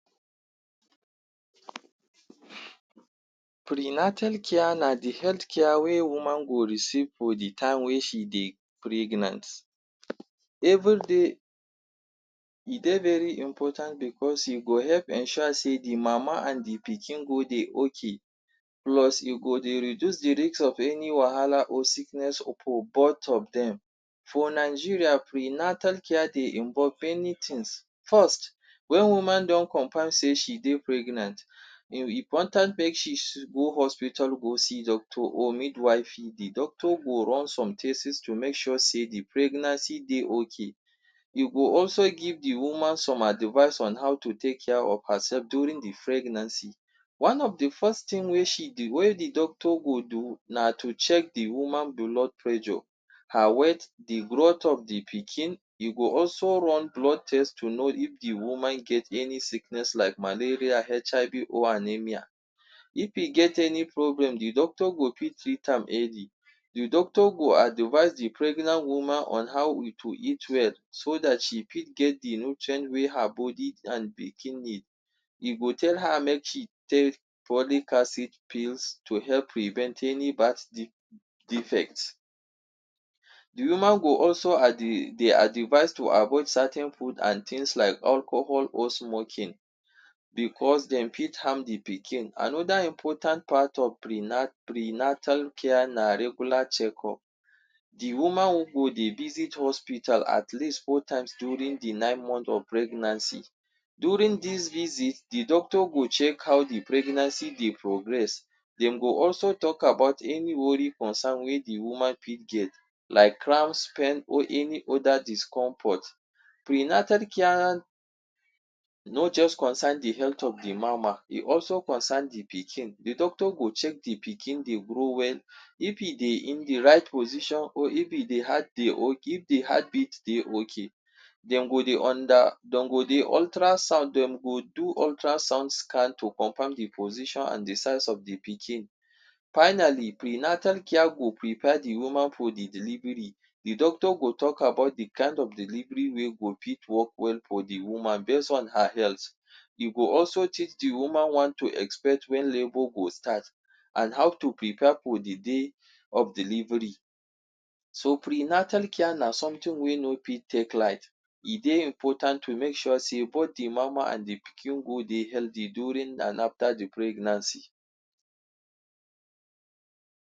Prenatal care na the health care wey woman go receive for the time wey she dey pregnant. E dey very important because e go help ensure sey the mama and the pikin go dey ok. Plus e go dey reduce the risk of any wahala or sickness occure both of dem. For Nigeria, prenatal care dey involve many things, First when woman don confirm sey she dey pregnant e important make she go hospital go see doctor or midwifery. The doctor go run some tests to make sure sey the pregnancy dey ok, e go also give the woman some advice on how to take care of herself during pregnancy. Wetin the doctor go do na to check the woman blood pressure, her weight, the growth of the pikin e go also run blood test to know if the woman get any sickness like malaria, HIV or anaemia. If e get any problem, the doctor go fit treat am early. The doctor go advice the pregnant woman on how to eat well. So that she fit get the nutrient wey her body and pikin need. E go tell her make she take folic acid, pills to help prevent any bad defect. The woman go also dey advice to avoid certain food and things like alcohol or smoking because dem fit harm the pikin. Another important part of prenatal care na regular checkup. The woman go dey visit hospital at least four times during the nine month of pregnancy. During this visit, the doctor go check how the pregnancy dey progress, dem go also talk about any worry concern wey the woman fit get like crown spell or any other discomfort. Prenatal care no just concern the health of the mama e also concern the pikin. The doctor go check the pikin dey grow well. If e dey in the right position or if the heartbeat dey ok. Dem go do ultrasound scan to confirm the position or the size of the pikin. Finally, prenatal care go prepare the woman for the delivery, the doctor go talk about the kind of delivery wey go fit work well for the woman base on her health. E go also teach the woman want to expect when labor go start and how to prepare for the day of delivery.so prenatal care na something wey no fit take light, e dey important to make sure sey both the mama and the pikin go dey healthy during and after the pregnancy.